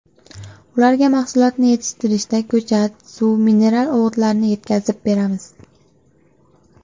Ularga mahsulotni yetishtirishda ko‘chat, suv, mineral o‘g‘itlarni yetkazib beramiz.